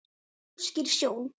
óskýr sjón